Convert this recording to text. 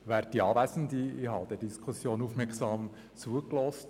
Ich habe der Diskussion aufmerksam zugehört.